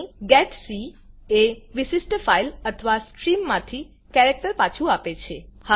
અહીં જીઇટીસી એ વિશિષ્ઠ ફાઈલ અથવા સ્ટ્રીમ માંથી કેરેક્ટર પાછુ આપે છે